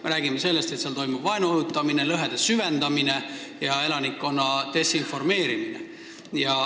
Me räägime sellest, et seal toimub vaenu õhutamine, lõhede süvendamine ja elanikkonna desinformeerimine.